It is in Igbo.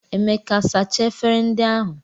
Emeka sachaa efere ndị ahụ